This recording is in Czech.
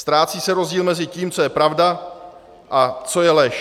Ztrácí se rozdíl mezi tím, co je pravda a co je lež.